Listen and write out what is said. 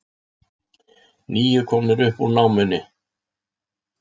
Níu komnir upp úr námunni